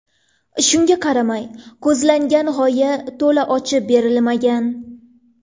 Shunga qaramay, ko‘zlangan g‘oya to‘la ochib berilmagan.